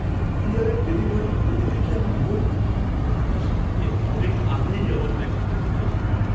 ক্যুরিয়ারের ডেলিভারির গতি দেখে আমি মুগ্ধ। প্রত্যাশার থেকে অনেক আগেই আমার প্যাকেজটা চলে এসেছে!